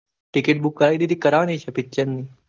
ticketbook કરાવી દીધી ક કરવાની છે.